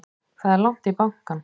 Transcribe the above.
Það er langt í bankann!